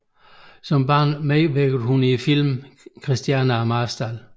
Som barn medvirkede hun i filmen Kristiane af Marstal